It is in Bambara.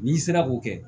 N'i sera k'o kɛ